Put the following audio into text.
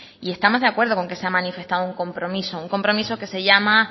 y estamos de acuerdo con que se ha manifestado un compromiso